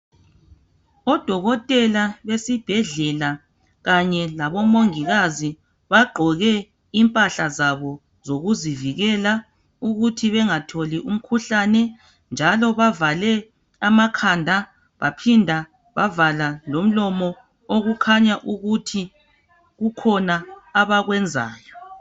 Odokotela besibhedlela kanye labomongikazi bagqoke impahla zabo zokuzivikela ukuthi bengatholi umkhuhlane njalo bavale amakhanda baphinda bavala lomlomo okukhanya ukuthi kukhona abakwenzayo.